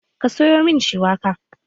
Ka sayo min shuwaka?